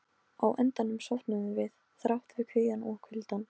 Á endanum sofnuðum við, þrátt fyrir kvíðann og kuldann.